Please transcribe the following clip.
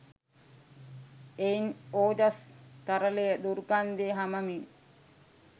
එයින් ඕජස් තරලය දුර්ගන්ධය හමමින්